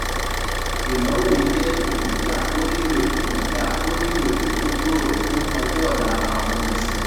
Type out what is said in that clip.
ìnáwó yìí jẹ́ ìpènijà tó nílò ìpènijà tó nílò ètò tó gbòòrò fún ọjọ́ ọ̀la àwọn olùsinmi.